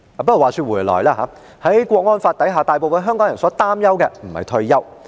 不過，話說回來，在《港區國安法》下，大部分香港人所擔憂的並非退休。